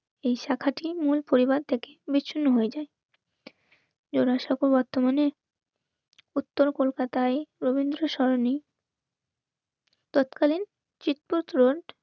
এই শাখাটির মূল পরিবার থেকে. বিচ্ছিন্ন হয়ে থাকে জোড়াসাঁকো বর্তমানে উত্তর কলকাতায় রবীন্দ্র সরণি তৎকালীন চিত্ত রোড